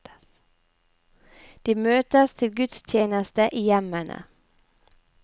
De møtes til gudstjeneste i hjemmene.